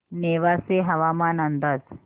नेवासे हवामान अंदाज